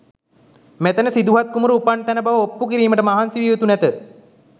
මෙතැන සිදුහත් කුමරු උපන් තැන බව ඔප්පු කිරීමට මහන්සි විය යුතු නැත.